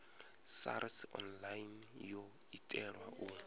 sars online yo itelwa u